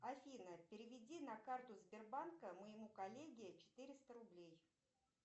афина переведи на карту сбербанка моему коллеге четыреста рублей